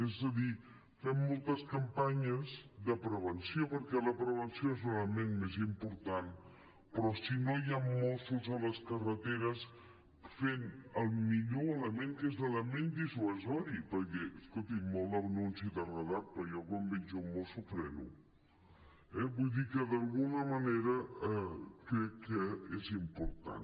és a dir fem moltes campanyes de prevenció perquè la prevenció és l’element més important però si no hi han mossos a les carreteres fent el millor element que és l’element dissuasiu perquè escolti’m molt anunci de radar però jo quan veig un mosso freno eh vull dir que d’alguna manera crec que és important